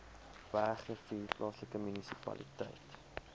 bergrivier plaaslike munisipaliteit